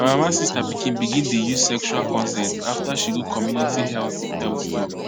my mama sister pikin begin dey use sexual consent after she go community health health talk